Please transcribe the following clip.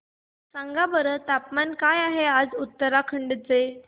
सांगा बरं तापमान काय आहे आज उत्तराखंड चे